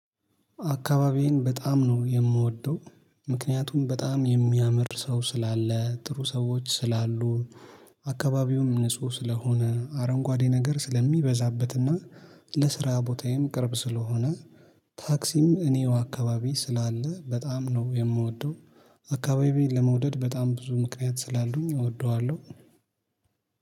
አካባቢዬን በጣም ነው የምወደው። ምክንያቱም በጣም የሚያምር ሰው ስላለ ጥሩ ሰዎች ስላሉ አካባቢውም ንጹህ ስለሆነ አረንጓዴ ነገር ስለሚበዛበትና ለስራ ቦታዬም ቅርብ ስለሆነ። ታክሲም እኔው አካባቢ ስላለ በጣም ነው የምወደው። አካባቢዬን ለመውደድ በጣም ብዙ ምክንያት ስላሉኝ እወደዋለሁ።